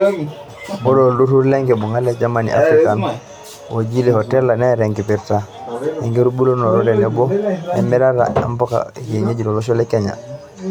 Ore olturur lenkibunga le German-Africa ojii HORTLEA neeta enkipirta enkitubulunoto tenebo emirata ombuka ekienyeji lotosho lekenya .